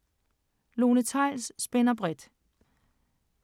Lone Theils spænder bredt